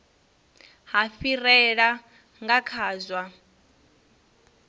ha fhirela nga kha zwa